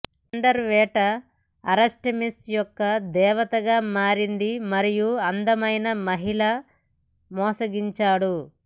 thunderer వేట Artemis యొక్క దేవతగా మారింది మరియు అందమైన మహిళ మోసగించాడు